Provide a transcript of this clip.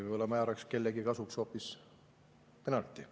Võib-olla määraks kellegi kasuks hoopis penalti.